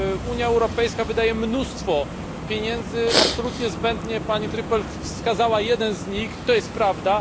Unia Europejska wydaje mnóstwo pieniędzy absolutnie zbędnie, pani Trüpel wskazała jeden z nich to jest prawda.